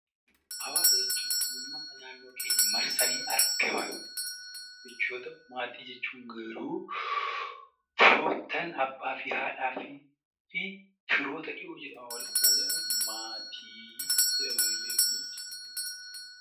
Hawaasa jechuun uummata naannoo keenya marsanii argaman yoo ta'u, maatii jechuun garuu firoottan, abbaa, haadhaa fi ijoollee walitti maatii jedhamanii beekamu.